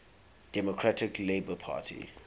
democratic labour party